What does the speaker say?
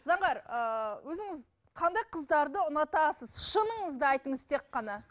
заңғар ыыы өзіңіз қандай қыздарды ұнатасыз шыныңызды айтыңыз тек қана